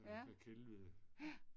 Ja. Ja